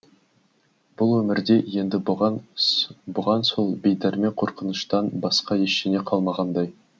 бұл өмірде енді бұған сол бейдәрмен қорқыныштан басқа ештеңе қалмағандай